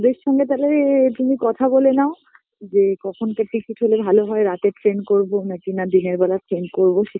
এদের সঙ্গে তালেএ তুমি কথা বলে নাও যে কখন কিছু হলে ভাল হয় রাতের train করবো না দিনা দিনের বেলা train করবো সে